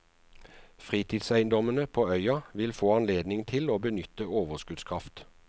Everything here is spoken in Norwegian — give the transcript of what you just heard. Fritidseiendommene på øya vil få anledning til å benytte overskuddskraft.